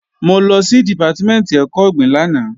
Mo lọ sí Dìpátímẹ̀ntì ẹ̀kọ́ ọ̀gbìn lánàá